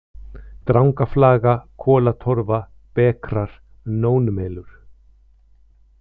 Drangaflaga, Kolatorfa, Bekrar, Nónmelur